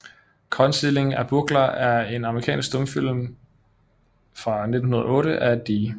Concealing a Burglar er en amerikansk stumfilm fra 1908 af D